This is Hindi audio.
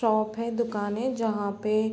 शॉप है। दुकान है। जहाँ पे --